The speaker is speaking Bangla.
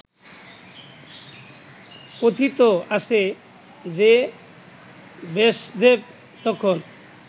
কথিত আছে যে ব্যাসদেব তখন